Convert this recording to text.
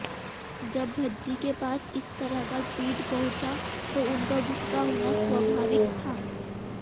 जब भज्जी के पास इस तरह का ट्वीट पहुंचा तो उनका गुस्सा होना स्वाभाविक था